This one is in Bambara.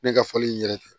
Ne ka fɔli in yɛrɛ tɛ